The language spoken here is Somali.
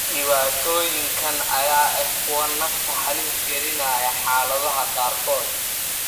Dhibaatooyinkan ayaa ah kuwo nafta halis gelinaya xaaladaha qaarkood.